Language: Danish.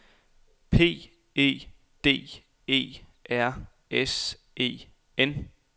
P E D E R S E N